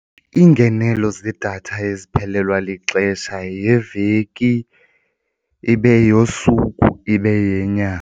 Iingenelo zedatha eziphelelwa lixesha yeyeveki, ibe yeyosuku, ibe yenyanga.